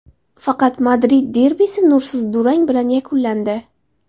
Faqat Madrid derbisi nursiz durang bilan yakunlandi.